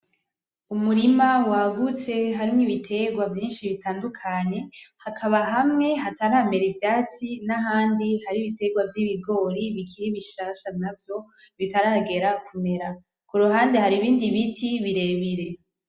Umurima wagutse harimwo ibiterwa vyinshi butandukanye , hakaba hamwe hataramera ivyatsi n'ahandi hari ibiterwa vy'ibigori bikiri bishasha navyo bitaragera kumera ,kuruhande hari ibindi biti birebire.